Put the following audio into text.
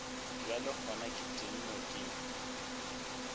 bjale gona ke tennwe ke